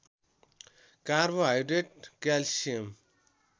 carbohydrate calcium